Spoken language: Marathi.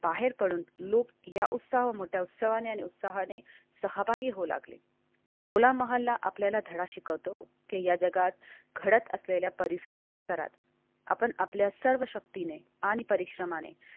बाहेर पडून लूप या लोळ उत्साह मोठ्या उत्सवाने आणि उत्साहाने सहभागी होऊ लागले होला मोहल्ला आपल्याला धडा शिकवतो. या जगात घडत असलेल्या परिस्त आपण आपल्या सर्व शक्तीने आणि परिश्रमाने.